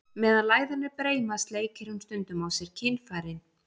Meðan læðan er breima, sleikir hún stundum á sér kynfærin.